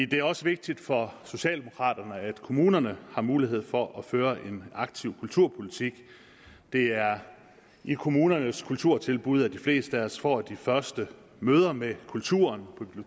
det er også vigtigt for socialdemokraterne at kommunerne har mulighed for at føre en aktiv kulturpolitik det er i kommunernes kulturtilbud at de fleste af os får de første møder med kulturen